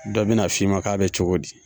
Dɔ bɛ na f'i ma k'a bɛ cogo di ?